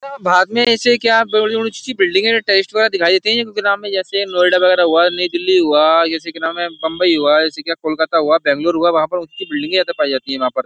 भारत में ऐसे क्या बड़ी-बड़ी ऊंची बिल्डिंगे दिखाई देती है नाम में जैसे नोएडा वगैरह हुआ नई दिल्ली हुआ जैसे कि नाम है बंबई हुआ जैसे कि कोलकाता हुआ बेंगलोर हुआ वहां पर ऊंची बिल्डिंगे ज्यादा पाई जाती हैं वहां पर।